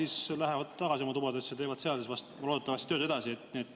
Siis nad lähevad tagasi oma tubadesse ja teevad seal loodetavasti tööd edasi.